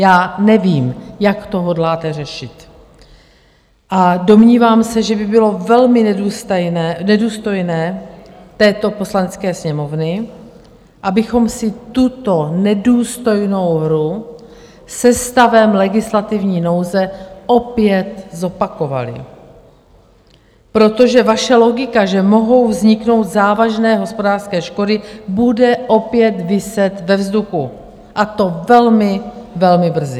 Já nevím, jak to hodláte řešit, a domnívám se, že by bylo velmi nedůstojné této Poslanecké sněmovny, abychom si tuto nedůstojnou hru se stavem legislativní nouze opět zopakovali, protože vaše logika, že mohou vzniknout závažné hospodářské škody, bude opět viset ve vzduchu, a to velmi, velmi brzy.